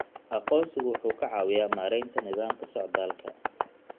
Aqoonsigu wuxuu ka caawiyaa maaraynta nidaamka socdaalka.